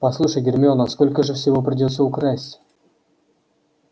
послушай гермиона сколько же всего придётся украсть